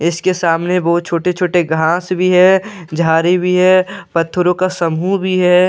इसके सामने वो छोटे छोटे घास भी है झाड़ी भी है पत्थरों का समूह भी है।